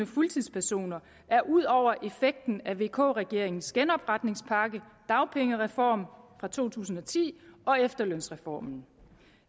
fuldtidspersoner er ud over effekten af vk regeringens genopretningspakke dagpengereform fra to tusind og ti og efterlønsreformen